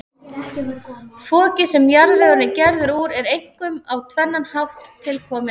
Fokið, sem jarðvegurinn er gerður úr, er einkum á tvennan hátt tilkomið.